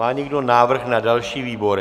Má někdo návrh na další výbory?